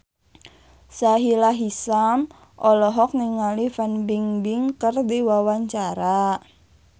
Sahila Hisyam olohok ningali Fan Bingbing keur diwawancara